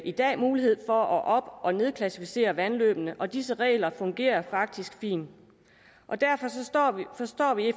i dag mulighed for at op og nedklassificere vandløbene og disse regler fungerer faktisk fint derfor forstår vi